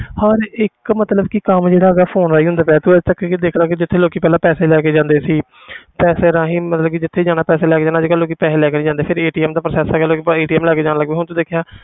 ਹਰ ਇੱਕ ਮਤਲਬ ਕਿ ਕੰਮ ਜਿਹੜਾ ਹੈਗਾ phone ਰਾਹੀਂ ਹੁੰਦਾ ਪਿਆ, ਤੂੰ ਇੱਥੋਂ ਤੱਕ ਹੀ ਦੇਖ ਲਾ ਕਿ ਜਿੱਥੇ ਲੋਕੀ ਪਹਿਲਾਂ ਪੈਸੇ ਲੈ ਕੇ ਜਾਂਦੇ ਸੀ ਪੈਸਿਆਂ ਰਾਹੀਂ ਮਤਲਬ ਕਿ ਜਿੱਥੇ ਜਾਣਾ ਪੈਸੇ ਲੈ ਕੇ ਜਾਣਾ ਅੱਜ ਕੱਲ੍ਹ ਲੋਕੀ ਪੈਸੇ ਲੈ ਕੇ ਨੀ ਜਾਂਦੇ ਫਿਰ ਦਾ process ਹੈਗਾ ਲੋਕੀ ਬਸ ਲੈ ਕੇ ਜਾਣ ਲੱਗ ਪਏ, ਹੁਣ ਤੂੰ ਦੇਖਿਆ